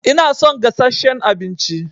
Ina son gasasshen abinci